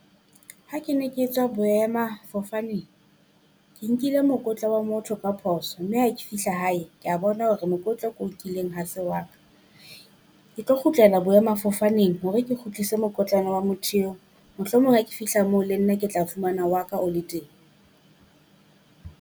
Ha ke ne ke tswa boemafofaneng, ke nkile mokotla wa motho ka phoso mme ha ke fihla hae, kea bona hore mokokotlo ke o nkileng ha se wa ka. Ke tlo kgutlela boemafofaneng hore ke kgutlise mokotlana wa motho eo. Mohlomong ha ke fihla moo le nna ke tla fumana wa ka o le teng.